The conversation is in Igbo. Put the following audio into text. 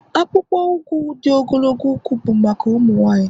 akpụkpọ ụkwụ di ogologo ụkwụ bụ maka ụmụ nwanyị